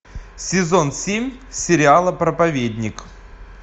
сезон семь сериала проповедник